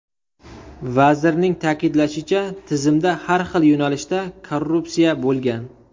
Vazirning ta’kidlashicha, tizimda har xil yo‘nalishda korrupsiya bo‘lgan.